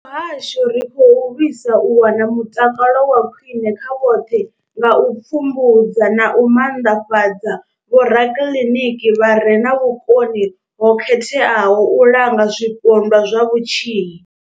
Sa muhasho, ri khou lwisa u wana mutakalo wa khwine kha vhoṱhe nga u pfumbudza na u maanḓafhadza vhorakiḽiniki vha re na vhukoni ho khetheaho u langa zwipondwa zwa vhutshinyi.